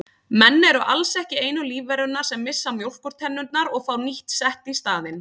Menn eru alls ekki einu lífverurnar sem missa mjólkurtennurnar og fá nýtt sett í staðinn.